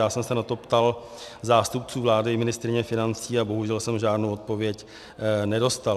Já jsem se na to ptal zástupců vlády i ministryně financí a bohužel jsem žádnou odpověď nedostal.